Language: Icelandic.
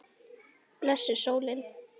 Blessuð sólin.